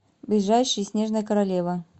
ближайший снежная королева